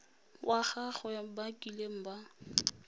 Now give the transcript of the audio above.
wa gagwe ba kileng ba